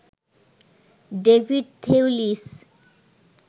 David Thewlis